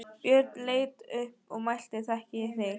Björn leit upp og mælti: Þekki ég þig, kindin?